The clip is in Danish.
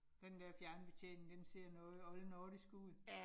Den der fjernbetjening, den ser noget oldnordisk ud